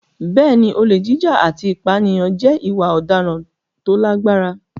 Bẹ́ẹ̀ni, olè jíjà àti ìpànìyàn jẹ́ ìwà ọ̀daràn tó lágbára.